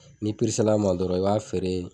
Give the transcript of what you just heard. N'i peresel'a ma dɔrɔn i b'a feere